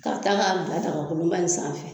K'a taa ka bila dagkolonba in sanfɛ.